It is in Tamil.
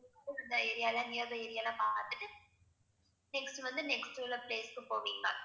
area லாம் near by area லாம் பாத்துட்டு next வந்து next உள்ள place க்கு போவீங்களா